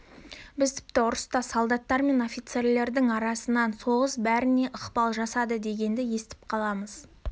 біз тіпті ұрыста солдаттар мен офицерлердің арасынан соғыс бәріне ықпал жасады дегенді естіп қаламыз